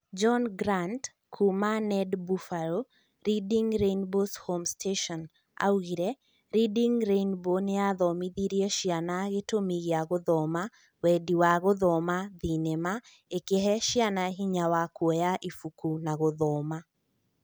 John Grant, kuuma WNED Buffalo ( Reading Rainbow's home station ) augire " Reading Rainbow nĩyathomithirie ciana gĩtũmi gĩa gũthoma,... wendi wa gũthoma(thenema) ĩkĩhe ciana hinya wa kuoya ibuku na gũthoma."